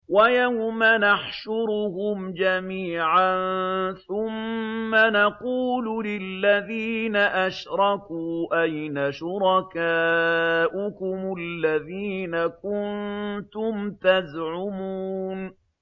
وَيَوْمَ نَحْشُرُهُمْ جَمِيعًا ثُمَّ نَقُولُ لِلَّذِينَ أَشْرَكُوا أَيْنَ شُرَكَاؤُكُمُ الَّذِينَ كُنتُمْ تَزْعُمُونَ